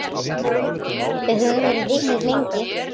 Við höfum verið vinir lengi.